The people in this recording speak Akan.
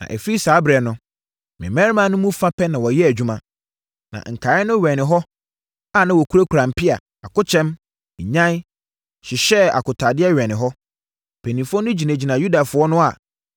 Na ɛfiri saa ɛberɛ no, me mmarima no mu fa pɛ na wɔyɛɛ adwuma, na nkaeɛ no wɛnee wɔ hɔ a wɔkurakura mpea, akokyɛm, nnyan, hyehyɛɛ akotaadeɛ wɛnee hɔ. Mpanimfoɔ no gyinagyinaa Yudafoɔ no a